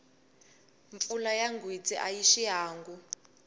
mpfula ya gwitsi a xiangu